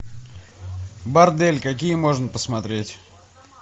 бордель какие можно посмотреть